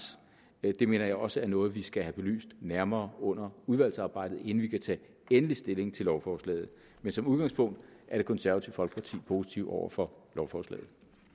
det mener jeg også er noget vi skal have belyst nærmere under udvalgsarbejdet inden vi kan tage endelig stilling til lovforslaget men som udgangspunkt er det konservative folkeparti positive over for lovforslaget